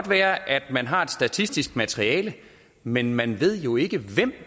være at man har et statistisk materiale men man ved jo ikke hvem